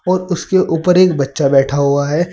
और उसके ऊपर एक बच्चा बैठा हुआ है।